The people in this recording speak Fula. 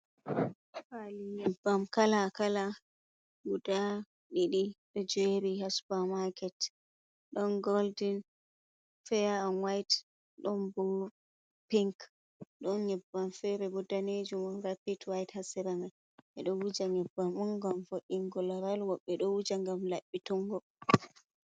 Pali nyebbam kala kala guda didi do jeri ha supa maket don golden, feya an white don bo pink don nyebbam fere bo danejumo rapid white ha sera mai, be do wuja nyebbam mun gam vod’ingo laral wobbe do wuja gam labbitungo.